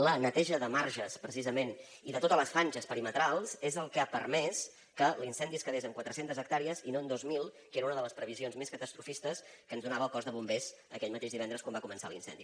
la neteja de marges precisament i de totes les franges perimetrals és el que ha permès que l’incendi es quedés en quatre centes hectàrees i no en dos mil que era una de les previsions més catastrofistes que ens donava el cos de bombers aquell mateix divendres quan va començar l’incendi